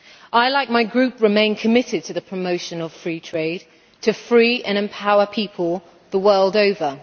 I, like my group, remain committed to the promotion of free trade to free and empower people the world over.